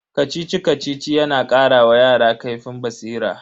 Kacici-Kacici yana kara wa yara kaifin basira.